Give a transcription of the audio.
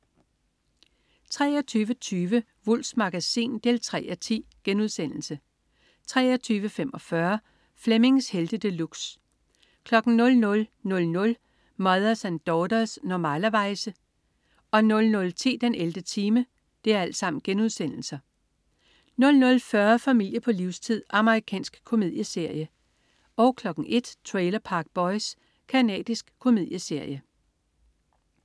23.20 Wulffs Magasin 3:10* 23.45 Flemmings Helte De Luxe* 00.00 Mothers and Daughters. Normalerweize* 00.10 den 11. time* 00.40 Familie på livstid. Amerikansk komedieserie 01.00 Trailer Park Boys. Canadisk komedieserie